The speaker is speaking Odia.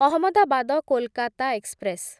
ଅହମଦାବାଦ କୋଲକାତା ଏକ୍ସପ୍ରେସ